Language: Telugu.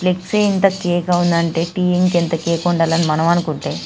ఫ్లెక్స్ ఇంత కేక ఉంది అంటే టీ ఇంకెంత కేక ఉందా అని మనం అనుకుంటే --